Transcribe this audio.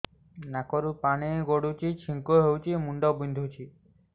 ନାକରୁ ପାଣି ଗଡୁଛି ଛିଙ୍କ ହଉଚି ମୁଣ୍ଡ ବିନ୍ଧୁଛି